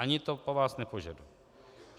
Ani to po vás nepožaduji.